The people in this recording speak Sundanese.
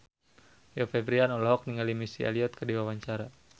Rio Febrian olohok ningali Missy Elliott keur diwawancara